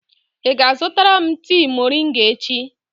Ị ga-azụtara m tii moringa echi?